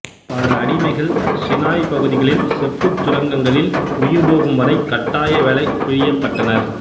பல அடிமைகள் சினாய் பகுதிகளில் செப்புச் சுரங்கங்களில் உயிர்போகும் வரை கட்டாய வேலை பிழியப்பட்டனர்